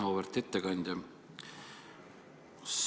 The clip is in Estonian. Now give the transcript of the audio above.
Auväärt ettekandja!